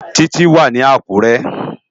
Titi wá ni Akure